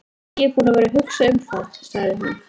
Ég er búin að vera að hugsa um það, sagði hún.